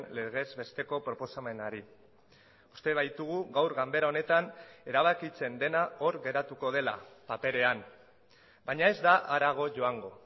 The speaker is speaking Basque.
legez besteko proposamenari uste baitugu gaur ganbera honetan erabakitzen dena hor geratuko dela paperean baina ez da harago joango